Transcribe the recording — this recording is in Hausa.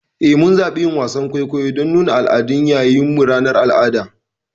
Eh, mun zaɓi yin wasan kwaikwayo don nuna al'adunmu yayin ranar al'ada.